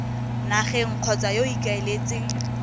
nageng kgotsa yo o ikaeletseng